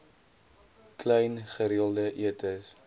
klein gereelde etes